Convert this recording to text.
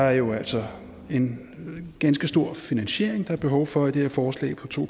er jo altså en ganske stor finansiering der er behov for i det her forslag på to